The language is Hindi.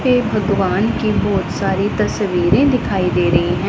एक भगवान की बहुत सारी तस्वीरें दिखाई दे रही हैं।